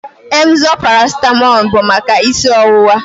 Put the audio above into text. Emzor paracetamol bụ maka isi ọwụwa